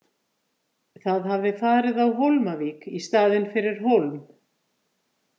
Það hafði farið á Hólmavík í staðinn fyrir Hólm.